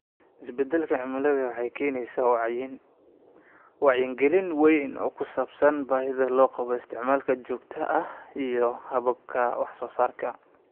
Isbeddelka cimiladu waxay keenaysaa wacyigelin weyn oo ku saabsan baahida loo qabo isticmaalka joogtada ah iyo hababka wax soo saarka.